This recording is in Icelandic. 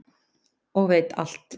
og veit alt.